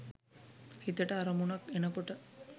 හිතට අරමුණක් එන කොට